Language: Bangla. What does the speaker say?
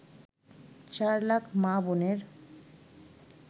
চার লাখ মা-বোনের